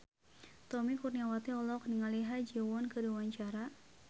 Tommy Kurniawan olohok ningali Ha Ji Won keur diwawancara